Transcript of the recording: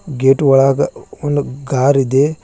Gate ಒಳಗ ಒಂದು ಕಾರಿ ದೆ.